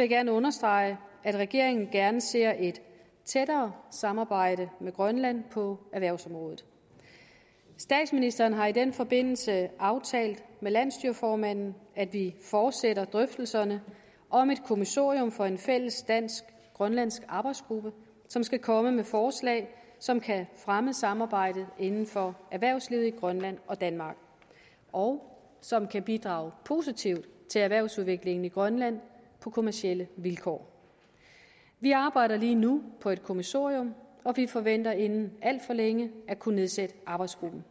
jeg gerne understrege at regeringen gerne ser et tættere samarbejde med grønland på erhvervsområdet statsministeren har i den forbindelse aftalt med landsstyreformanden at vi fortsætter drøftelserne om et kommissorium for en fælles dansk grønlandsk arbejdsgruppe som skal komme med forslag som kan fremme samarbejdet inden for erhvervslivet i grønland og danmark og som kan bidrage positivt til erhvervsudviklingen i grønland på kommercielle vilkår vi arbejder lige nu på et kommissorium og vi forventer inden alt for længe at kunne nedsætte arbejdsgruppen